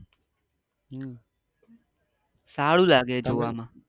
સારું લાગે જોવા માં